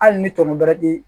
Hali ni tɔɔnɔ ti